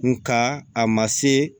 Nga a ma se